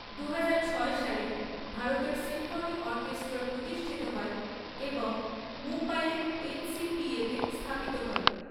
দুহাজার ছয় সালে, ভারতের সিম্ফনি অর্কেষ্ট্রা প্রতিষ্ঠিত হয় এবং মুম্বাইয়ের এনসিপিএতে স্থাপিত হয়।